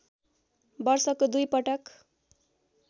वर्षको दुई पटक